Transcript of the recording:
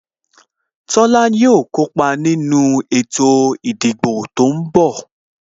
Tola yo kópa nínú ètò ìdìbò tó ń bọ̀